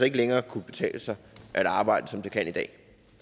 ikke længere kunne betale sig at arbejde som det kan i dag